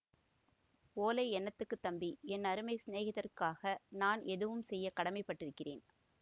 ஓலை என்னத்துக்கு தம்பி என் அருமைச் சிநேகிதருக்காக நான் எதுவும் செய்ய கடமைப்பட்டிருக்கிறேன்